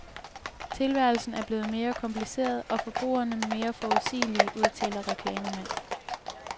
Tilværelsen er blevet mere kompliceret, og forbrugerne mere uforudsigelige, udtaler reklamemand.